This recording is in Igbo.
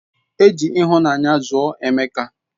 Eji ihunanya zuo emeka